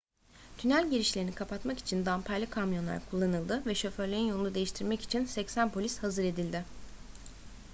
tünel girişlerini kapatmak için damperli kamyonlar kullanıldı ve şoförlerin yolunu değiştirmek için 80 polis hazır edildi